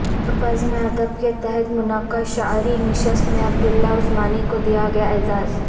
بزم ادب کے تحت منعقد شعری نشست میں عبداللہ عثمانی کو دیاگیا اعزاز